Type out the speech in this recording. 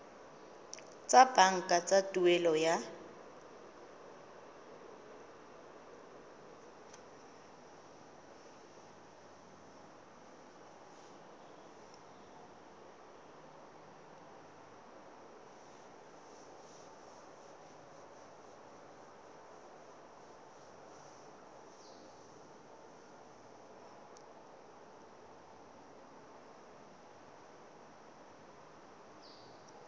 tsa banka tsa tuelo ya